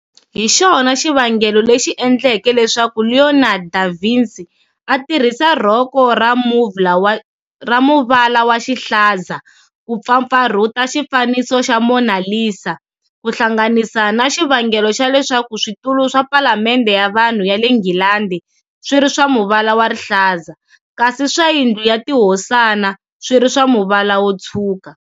Hixona xivangelo lexi endleke leswaku Leonardo da Vinci a tirhisa rhoko ra muvala wa rihlaza ku pfapfarhuta xi faniso xa "Mona Lisa", kuhlanganisa na xivangelo xa leswaku switulu swa Phalamendhe ya Vanhu ya le Nghilandi swiri swa muvala wa rihlaza, kasi swa Yindlu ya tihosana swiri swa muvala wo tshwuka.